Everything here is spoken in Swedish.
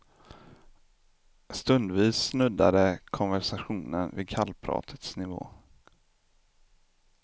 Stundvis snuddade konversationen vid kallpratets nivå.